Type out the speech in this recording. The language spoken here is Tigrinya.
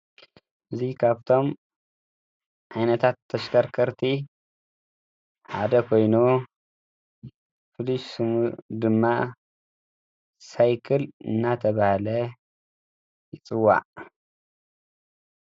እዚ ካብቶም ዓይነታት ተሽከርከርቲ ሐደ ኮይኑ ፍሉይ ሽሙ ድማ ሳይክል እናተብሃለ ይፅዋዕ።